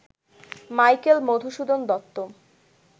Michael Madhusudan Dutta